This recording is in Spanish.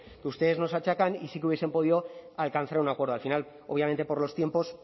que ustedes nos achacan y sí que hubiesen podido alcanzar un acuerdo al final obviamente por los tiempos